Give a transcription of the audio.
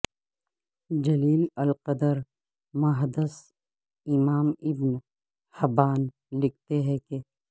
جلیل القدر محدث امام ابن حبان لکھتے ہیں کہ